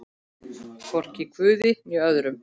Hvorki guði né öðrum.